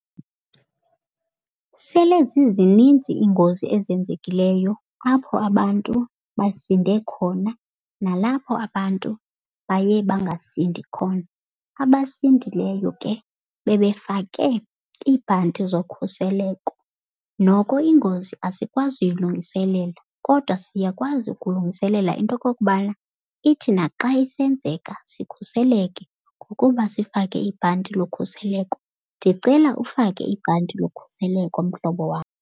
Sele zizinintsi iingozi ezenzekileyo apho abantu basinde khona, nalapho abantu baye bangasindi khona. Abasindileyo ke bebefake iibhanti zokhuseleko. Noko ingozi asikwazi uyilungiselela, kodwa siyakwazi ukulungiselela into yokokubana ithi naxa isenzeka sikhuseleke ngokuba sifake ibhanti lokhuseleko. Ndicela ufake ibhanti lokhuseleko mhlobo wam.